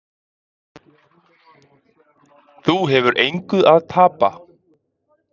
Þú hefur engu að tapa.